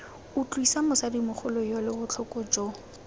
utlwisa mosadimogolo yole botlhoko jo